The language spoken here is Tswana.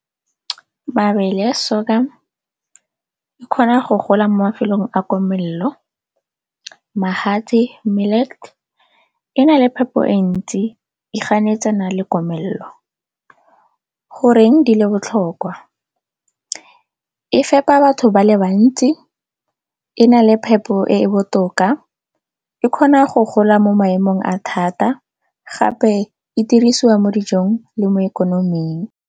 Mabele a sorghum a kgona go gola mo mafelong a komelelo, magatse e na le phepo e ntsi e ganetsana le komelelo. Goreng di le botlhokwa? E fepa batho ba le bantsi, e na le phepo e e botoka, e kgona go gola mo maemong a thata gape e dirisiwa mo dijong le mo ikonoming.